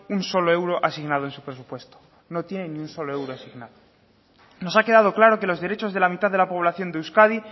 un solo euro asignado en su presupuesto no tiene ni un solo euro asignado nos ha quedado claro que los derechos de la mitad de la población de euskadi